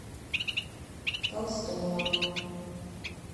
толстова